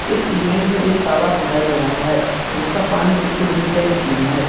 इस इमेज में एक तालाब दिखाई दे रहा है जिसका पानी बिल्कुल नीट एंड क्लीन है।